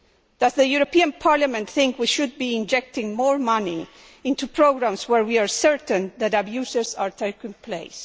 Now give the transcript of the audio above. Does the European Parliament think we should be injecting more money into programmes where we are certain abuses are taking place?